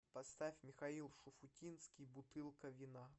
поставь михаил шуфутинский бутылка вина